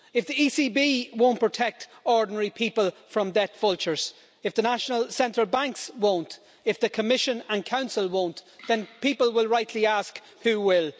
If the ECB won't protect ordinary people from debt vultures, if the national central banks won't, if the Commission and Council won't, then people will rightly ask who will.